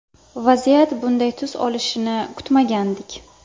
Vaziyat bunday tus olishini kutmagandik.